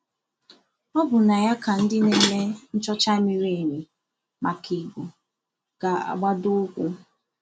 Ọ bụ na ya ka ndị na-eme nchọcha miri emi maka Igbo ga-agbado ụkwụ.